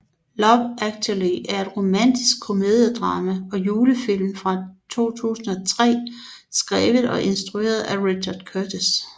Love Actually er et romantisk komediedrama og julefilm fra 2003 skrevet og instrueret af Richard Curtis